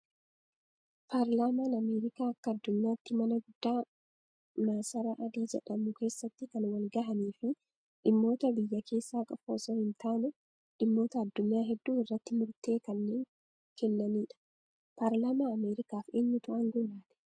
Paarlaamaan Ameerikaa akka addunyaatti mana guddaa maasaraa adii jedhamu keessatti kan wal gahanii fi dhimmoota biyya keessaa qofa osoo hin taane dhimmoota addunyaa hedduu irratti murtee kanneen kennanidha. Paarlaamaa Ameerikaaf eenyutu aangoo laate?